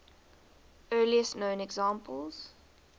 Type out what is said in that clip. earliest known examples